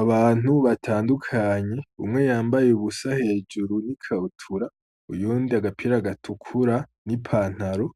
Abantu batandukanye, umwe yambaye ubusa hejuru n'ikabutura, uyundi agapira gatukura n'ipantaro,